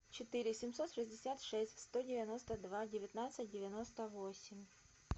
четыре семьсот шестьдесят шесть сто девяносто два девятнадцать девяносто восемь